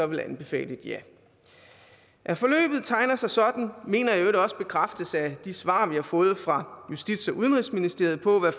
ville anbefale et ja at forløbet tegner sig sådan mener jeg i øvrigt også bekræftes af de svar vi har fået fra justits og udenrigsministeriet på hvad